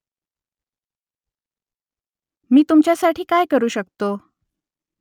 मी तुमच्यासाठी काय करू शकतो ?